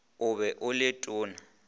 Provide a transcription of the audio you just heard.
o be o le tona